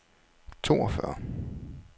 toogfyrre